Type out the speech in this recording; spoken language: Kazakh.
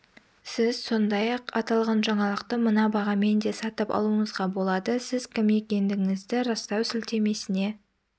сіз сондай-ақ аталған жаңалықты мына бағамен де сатып алуыңызға болады сіз кім екендігіңізді растау сілтемесіне